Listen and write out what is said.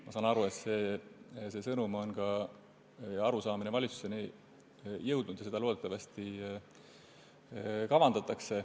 Ma saan aru, et see sõnum või arusaamine on ka valitsuseni jõudnud, ja loodetavasti seda kavandatakse.